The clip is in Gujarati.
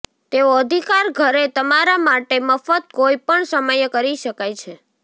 તેઓ અધિકાર ઘરે તમારા માટે મફત કોઈપણ સમયે કરી શકાય છે